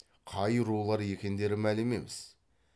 қай рулар екендері мәлім емес